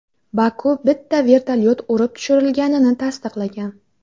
Baku bitta vertolyot urib tushirilganini tasdiqlagan.